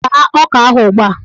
Taa ọka ahụ ugbua!